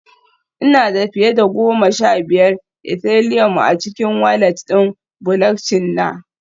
Ina da fiye da goma sha biyar Ethileum a cikin walat ɗin Bulockchin na